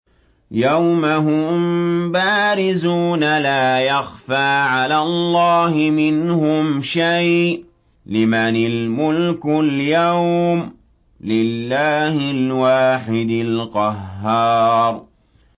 يَوْمَ هُم بَارِزُونَ ۖ لَا يَخْفَىٰ عَلَى اللَّهِ مِنْهُمْ شَيْءٌ ۚ لِّمَنِ الْمُلْكُ الْيَوْمَ ۖ لِلَّهِ الْوَاحِدِ الْقَهَّارِ